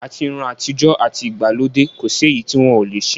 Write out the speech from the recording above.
Àti irun àtijọ́, àti ìgbàlódé, kò sí èyí tí wọ́n ò le ṣe.